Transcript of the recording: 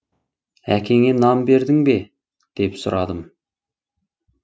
әкеңе нан бердің бе деп сұрадым